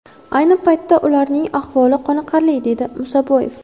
Ayni paytda ularning ahvoli qoniqarli”, dedi Musaboyev.